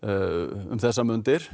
um þessar mundir